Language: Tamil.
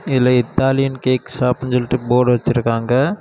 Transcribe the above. இதுல இத்தாலியன் கேக் ஷாப்னு சொல்லிட்டு போர்டு வச்சிருக்காங்க.